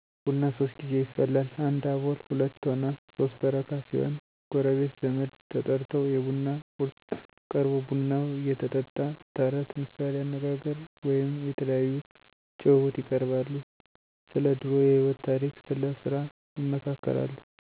ቡና ሶስት ጌዜ ይፈላል 1 አቦል 2ቶና 3 በረካ ሲሆኑ ጎረቤት፣ ዘመድ ተጠርተው የቡና ቁርስ ቀርቦ ቡናው እየተጠጣ ተረት፣ ምሣሌ አነጋገር ወይም የተለያዩ ጭውውት ይቀርባሉ። ስለድሮ የህይወት ታሪክ ስለስራ ይመካከራሉ።